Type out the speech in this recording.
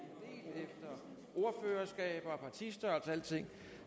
ordførerskaber partistørrelser og alting